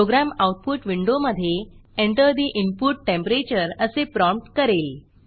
program output विंडोमधे enter the input temperature असे prompt करेल